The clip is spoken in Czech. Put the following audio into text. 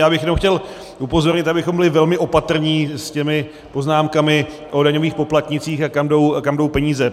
Já bych jenom chtěl upozornit, abychom byli velmi opatrní s těmi poznámkami o daňových poplatnících, a kam jdou peníze.